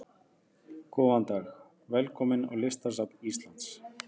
Góðan dag. Velkomin á Listasafn Íslands.